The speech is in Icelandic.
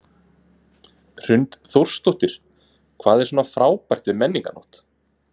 Hrund Þórsdóttir: Hvað er svona frábært við Menningarnótt?